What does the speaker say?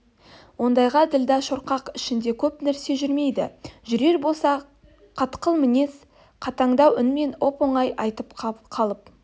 ондайға ділдә шорқақ ішінде көп нәрсе жүрмейді жүрер болса қатқыл мінез қатаңдау үнмен оп-оңай айтып қалып